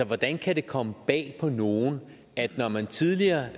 hvordan kan det komme bag på nogen at når man tidligere